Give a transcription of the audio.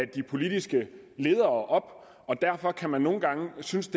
de politiske ledere og derfor kan man nogle gange synes